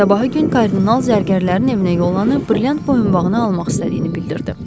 Sabahı gün kardinal zərgərlərin evinə yollanıb, brilliant boyunbağını almaq istədiyini bildirdi.